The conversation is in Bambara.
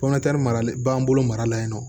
mara b'an bolo mara la yen nɔ